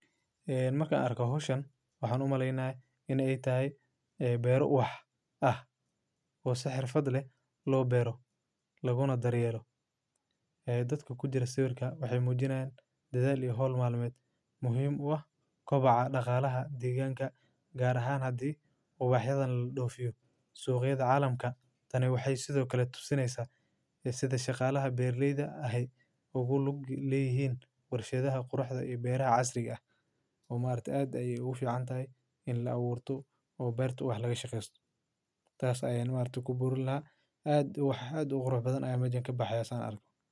eeh markaan arko hoshan waxaan u malaynay in ay tahay beeru wax ah oo saxiir fadli loo berro laguna daryelo. Dadka ku jira siweerka waxay muujinaan dedaal iyo hol maalmeed. Muhiim ah koo baxa dhaqaalaha deegaanka gaar ahaan haddii ubaxyadan la dhoofyo suuqyada caalamka. Tani waxay sidoo kale tusinaysaa sida shaqaalaha beerleyda ahay ugu logi lehyn warshadaha qurxadda iyo beeraca casriga ah. Maartii aad ayuu u ficnaantahay in la awoorto oo bayrta wax laga shaqeyst, taas ayey maartii ku burno lahaa aad wax aad u quruxdo badan ama iyo baxyo aan arko.